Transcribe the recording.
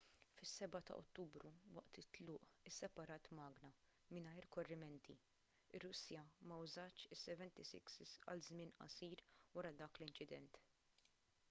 fis-7 ta' ottubru waqt it-tluq isseparat magna mingħajr korrimenti ir-russja ma użatx il-76s għal żmien qasir wara dak l-inċident